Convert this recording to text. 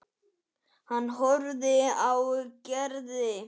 Hann horfði á Gerði.